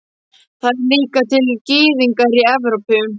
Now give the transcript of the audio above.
Það eru líka til gyðingar í Evrópu.